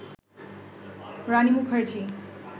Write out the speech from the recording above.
Rani Mukherjee